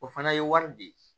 O fana ye wari di